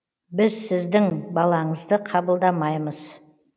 біз сіздің балаңызды қабылдамаймыз